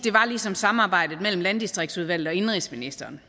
ligesom samarbejdet mellem landdistriktsudvalget og indenrigsministeren